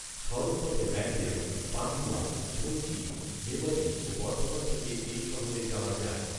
সড়ক পথে ব্যান্ডেল, পাণ্ডুয়া, বৈঁচি, মেমারি ও বর্ধমান থেকে এই শহরে যাওয়া যায়